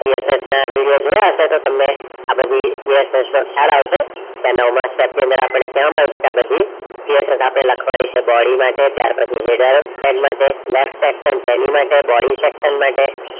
PSS ના video જોયા હતા તમે આ બધી PSS ની શાળાઓ છે. નવમા step ની અંદર આપડે કહેવામાં આવશે. આ બધી PSS આપણે લખવાની છે. body માટે ત્યાર પછી header stead માટે last section શરીર માટે body structure માટે